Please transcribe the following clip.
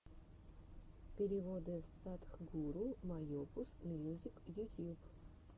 переводы садхгуру майопус мьюзик ютьюб